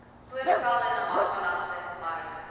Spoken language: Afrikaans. voorgestelde namakwalandse mariene